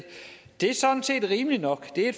det er sådan set rimeligt nok det er